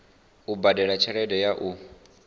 u badela tshelede ya u